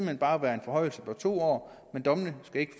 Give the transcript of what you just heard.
hen bare være en forhøjelse på to år men dommene skal ikke